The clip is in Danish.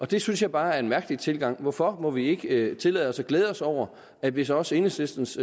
det synes jeg bare er en mærkelig tilgang hvorfor må vi ikke tillade os at glæde os over at hvis også enhedslistens